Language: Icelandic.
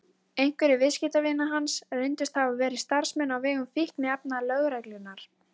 Einhverjir viðskiptavina hans reyndust hafa verið starfsmenn á vegum fíkniefnalögreglunnar.